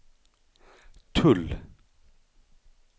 tull